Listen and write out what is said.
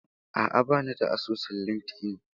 A'a, ba ni da asusun Linkedln.